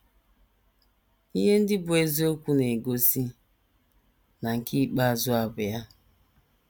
Ihe ndị bụ́ eziokwu na - egosi na nke ikpeazụ a bụ ya.